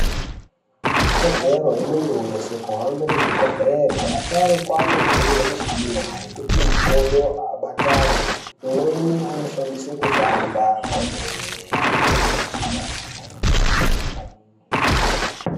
Ikodzero yemuntu weshe kuhambe muzvibhedhlera asharukwa anopihwa mishina yekuti makodo abatane imweni vanoshandisa kufamba kwemene.